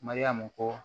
Mariyamu ko